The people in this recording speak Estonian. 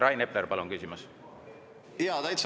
Rain Epler, palun küsimus!